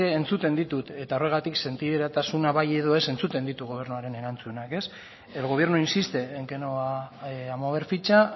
entzuten ditut eta horregatik sentiberatasuna bai edo ez entzuten ditut gobernuaren erantzunak el gobierno insiste en que no va a mover ficha